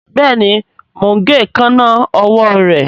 Béèni mọ ń gé Èékánná ọwọ́ re.